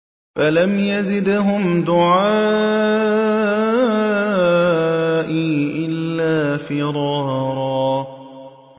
فَلَمْ يَزِدْهُمْ دُعَائِي إِلَّا فِرَارًا